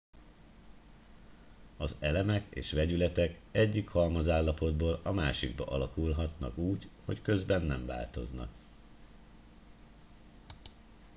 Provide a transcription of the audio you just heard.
az elemek és vegyületek egyik halmazállapotból a másikba alakulhatnak úgy hogy közben nem változnak